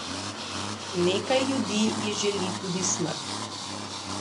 Nekaj ljudi ji želi tudi smrt.